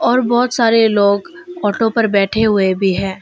और बहोत सारे लोग ऑटो पर बैठे हुए भी हैं।